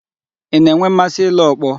Ị na-enwe mmasị ile ọkpọ?